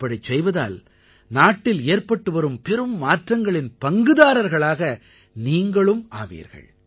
இப்படிச் செய்வதால் நாட்டில் ஏற்பட்டு வரும் பெரும் மாற்றங்களின் பங்குதாரர்களாக நீங்களும் ஆவீர்கள்